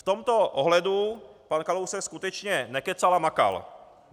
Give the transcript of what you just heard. V tomto ohledu pan Kalousek skutečně nekecal a makal.